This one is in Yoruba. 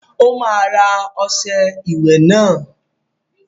Ó máa ra ọṣẹ ìwẹ̀ náà!